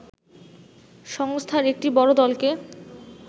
সংস্থার একটি বড় দলকে